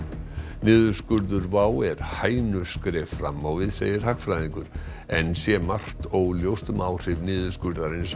niðurskurður WOW er hænuskref fram á við segir hagfræðingur enn sé margt óljóst um áhrif niðurskurðarins á